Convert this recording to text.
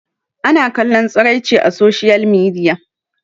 ana kallon tsiraici a soshiyal midiya